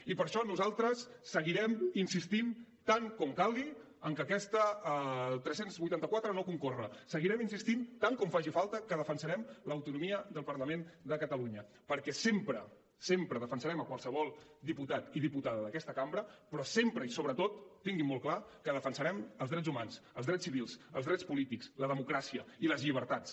i per això nosaltres seguirem insistint tant com calgui en que el tres cents i vuitanta quatre no concorre seguirem insistint tant com faci falta que defensarem l’autonomia del parlament de catalunya perquè sempre sempre defensarem qualsevol diputat i diputada d’aquesta cambra però sempre i sobretot tinguin molt clar que defensarem els drets humans els drets civils els drets polítics la democràcia i les llibertats